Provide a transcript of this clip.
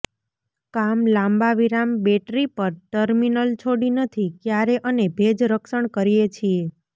કામ લાંબા વિરામ બેટરી પર ટર્મિનલ છોડી નથી ક્યારે અને ભેજ રક્ષણ કરીએ છીએ